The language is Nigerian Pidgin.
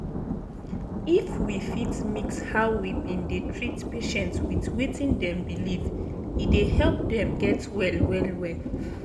if we fit mix how we bin dey treat patient with wetin dem believe e dey help dem get well well-well.